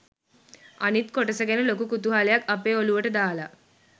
අනිත් කොටස ගැන ලොකු කුතුහලයක් අපේ ඔළුවට දාලා.